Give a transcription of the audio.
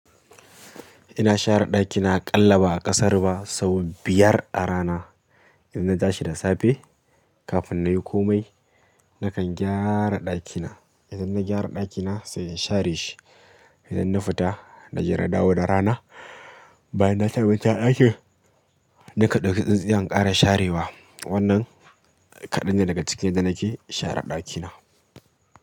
Ina share ɗakina aƙalla ba a ƙasara ba sau biyar a rana. In na ta shi da safe kafin na yi komai nakan gyara ɗakina. Idan na gyara ɗakina sai in share shi. Idan na fita na je na dawo da rana, bayan na cinabincina ɗakin, na kan ɗauki tsintsiya in ƙara sharewa. Wannan kaɗan ne daga cikin yadda nake share ɗakina.